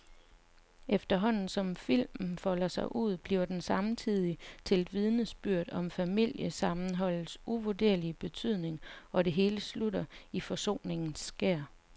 Efterhånden som filmen folder sig ud, bliver den samtidig til et vidnesbyrd om familiesammenholdets uvurderlige betydning, og det hele slutter i forsoningens skær.